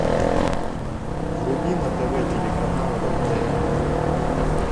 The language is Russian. вруби на тв телеканал родное кино